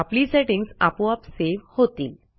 आपली सेटिंग्ज आपोआप सेव्ह होतील